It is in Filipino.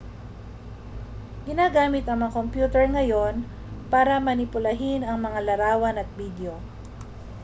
ginagamit ang mga kompyuter ngayon para manipulahin ang mga larawan at bidyo